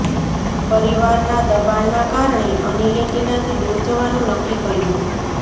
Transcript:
પરિવારના દબાણના કારણે અનિલે ટીનાથી દૂર જવાનું નક્કી કર્યું